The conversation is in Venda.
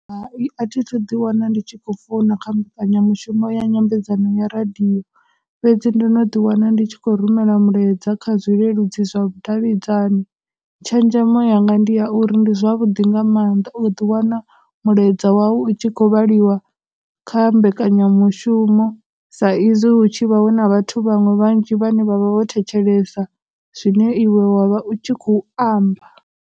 Hai, a thi thu ḓi wana ndi tshi khou founa kha mbekanyamushumo ya nyambedzano ya radio, fhedzi ndo no ḓi wana ndi tshi khou rumela mulaedza kha zwileludzi zwa vhudavhidzani, tshenzhemo yanga ndi ya uri ndi zwavhuḓi nga mannḓa u ḓi wana mulaedza wawu u tshi khou vhaliwa kha mbekanyamushumo sa izwi hu tshi vha hu na vhathu vhaṅwe vhanzhi vhane vha vha vho thetshelesa zwine iwe wa vha u tshi khou amba.